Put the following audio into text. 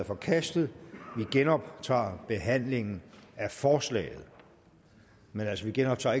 forkastet vi genoptager behandlingen af forslaget men vi genoptager